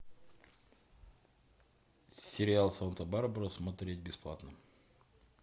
сериал санта барбара смотреть бесплатно